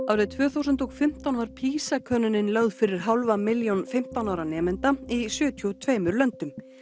árið tvö þúsund og fimmtán var PISA könnunin lögð fyrir hálfa milljón fimmtán ára nemenda í sjötíu og tvö löndum